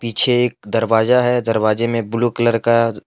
पीछे एक दरवाजा है दरवाज़े मे ब्लू कलर का--